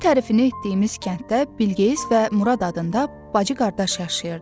Belə tərifini etdiyimiz kənddə Bilqeyis və Murad adında bacı-qardaş yaşayırdı.